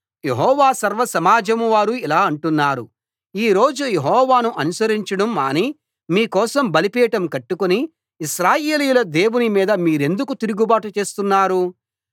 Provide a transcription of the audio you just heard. యెహోవా సర్వసమాజం వారు ఇలా అంటున్నారు ఈ రోజు యెహోవాను అనుసరించడం మాని మీ కోసం బలిపీఠం కట్టుకుని ఇశ్రాయేలీయుల దేవుని మీద మీరెందుకు తిరుగుబాటు చేస్తున్నారు